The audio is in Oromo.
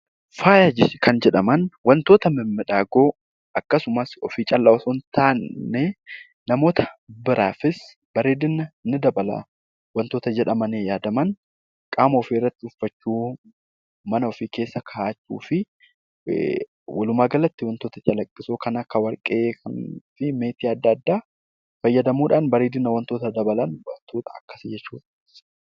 Faaya kan jedhaman wantoota miidhagoo akkasumas ofii qofaaf osoo hin taane namoota biroofis bareedina ni dabala kan jedhamanii yaadaman qaama ofiirratti kaawwachuu, mana ofii kaawwachuu fi walumaa galatti wantoota calaqqisoo kan akka warqee fi meetii adda addaa fayyadamuudhaan miidhagina wantootaa dabaluun ni danda'ama.